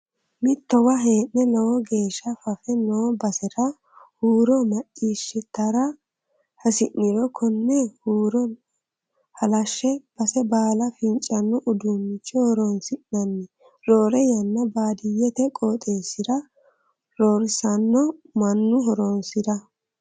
Mittowa hee'ne lowo geeshsha fafe no basera huuro maccishshattara hasi'niro kone huuro halashe base baala fincano uduuncho horonsi'nanni roore yanna baadiyyete qooxxeesira roorsano mannu horonsira.